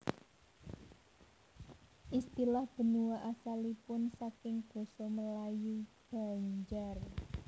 Istilah benua asalipun saking Basa Melayu Banjar